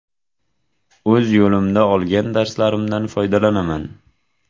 O‘z yo‘limda olgan darslarimdan foydalanaman.